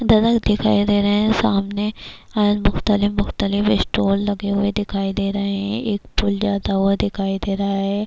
درل دکھائی دے رہے ہیں سامنے مختلف مختلف اسٹور لگے ہوئے دکھائی دے رہے ہیں- ایک پل جاتا ہوا دکھائی دے رہا ہے-